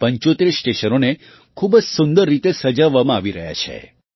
આ ૭૫ સ્ટેશનોને ખૂબ જ સુંદર રીતે સજાવવામાં આવી રહ્યાં છે